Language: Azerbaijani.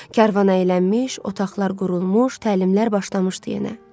Karvan əylənmiş, otaqlar qurulmuş, təlimlər başlamışdı yenə.